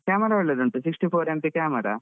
Camera ಒಳ್ಳೆ ಉಂಟು Sixty-four MP camera